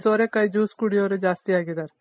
ಸೋರೆಕಾಯಿ juice ಕುಡಿಯೋರೆ ಜಾಸ್ತಿ ಆಗಿದಾರೆ